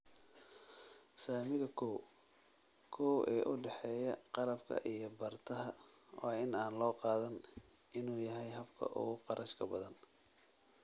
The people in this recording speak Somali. Saamiga koow:koow ee u dhexeeya qalabka iyo bartaha waa in aan loo qaadan in uu yahay habka ugu kharashka badan